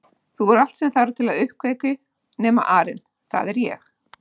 Þú ert allt sem þarf til uppkveikju nema arinn það er ég